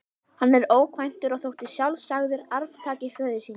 Hann var ókvæntur og þótti sjálfsagður arftaki föður síns.